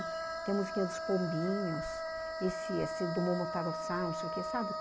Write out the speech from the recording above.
Tem a musiquinha dos pombinhos, esse do Momotaro Samus, sabe?